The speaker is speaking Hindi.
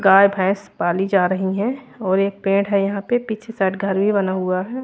गाय भैंस पाली जा रही है और एक पेड़ है यहां पे पीछे साइड घर भी बना हुआ है।